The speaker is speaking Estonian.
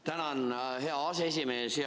Tänan, hea aseesimees!